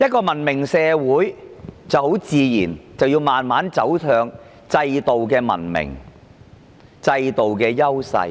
文明社會很自然要慢慢走向制度上的文明和優勢。